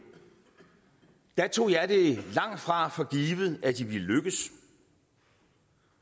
tog jeg det langtfra for givet at de ville lykkes